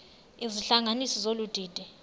izihlanganisi zolu didi